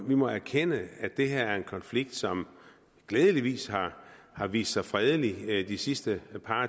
vi må erkende at det her er en konflikt som glædeligvis har vist sig fredelig de sidste